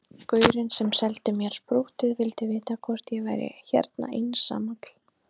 Gaurinn sem seldi mér sprúttið vildi vita hvort ég væri hérna einsamall